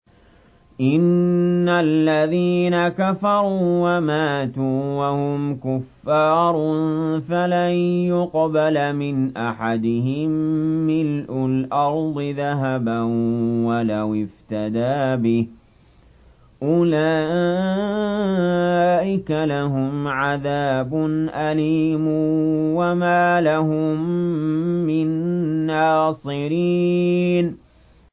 إِنَّ الَّذِينَ كَفَرُوا وَمَاتُوا وَهُمْ كُفَّارٌ فَلَن يُقْبَلَ مِنْ أَحَدِهِم مِّلْءُ الْأَرْضِ ذَهَبًا وَلَوِ افْتَدَىٰ بِهِ ۗ أُولَٰئِكَ لَهُمْ عَذَابٌ أَلِيمٌ وَمَا لَهُم مِّن نَّاصِرِينَ